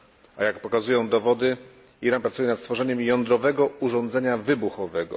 A jak pokazują dowody, Iran pracuje nad stworzeniem jądrowego urządzenia wybuchowego.